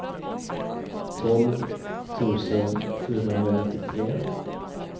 tolv tusen fyrahundranittiotre